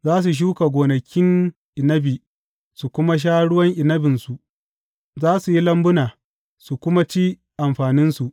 Za su shuka gonakin inabi su kuma sha ruwan inabinsu; za su yi lambuna su kuma ci amfaninsu.